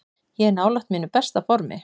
Ég er nálægt mínu besta formi.